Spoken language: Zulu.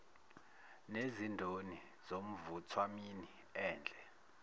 nezindoni nomvuthwamini endle